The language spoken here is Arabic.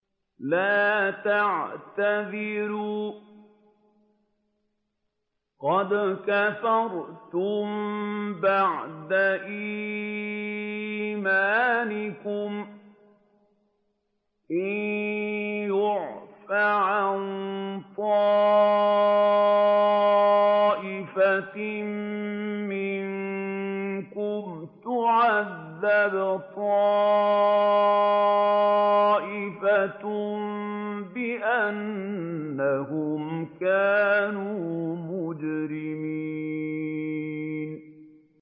لَا تَعْتَذِرُوا قَدْ كَفَرْتُم بَعْدَ إِيمَانِكُمْ ۚ إِن نَّعْفُ عَن طَائِفَةٍ مِّنكُمْ نُعَذِّبْ طَائِفَةً بِأَنَّهُمْ كَانُوا مُجْرِمِينَ